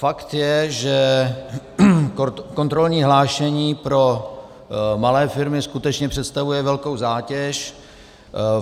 Fakt je, že kontrolní hlášení pro malé firmy skutečně představuje velkou zátěž.